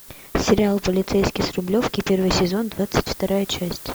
сериал полицейский с рублевки первый сезон двадцать вторая часть